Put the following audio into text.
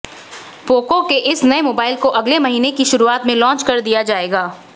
Poco के इस नए मोबाइल को अगले महीने की शुरुआत में लॉन्च कर दिया जाएगा